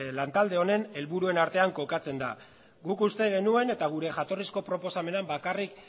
lantalde honen helburuen artean kokatzen da guk uste genuen eta gure jatorrizko proposamenean bakarrik